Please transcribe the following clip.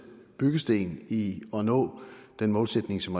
byggesten i at nå den målsætning som